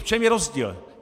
V čem je rozdíl?